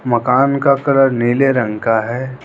मकान का कलर नीले रंग का है।